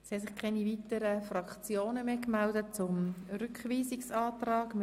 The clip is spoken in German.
Es haben sich keine weiteren Fraktionen mehr zum Rückweisungsantrag gemeldet.